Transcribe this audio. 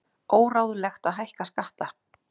Óráðlegt að hækka skatta